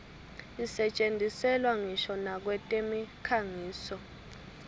isetjentiselwa ngisho nakwetemikhangiso